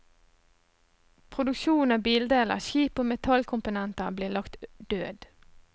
Produksjonen av bildeler, skip og metallkomponenter blir lagt død.